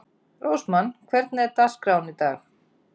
Rósmann, hvernig er dagskráin í dag?